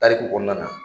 Tariku kɔnɔna na